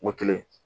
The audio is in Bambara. N ko kelen